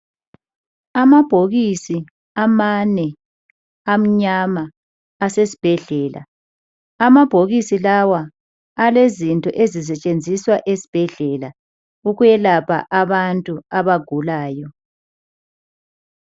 Amabhokisi amane amnyama asesibhedlela. Amabhokisi lawa alezinto ezisetshenziswa esibhedlela ukuyelapha abantu abagulayo.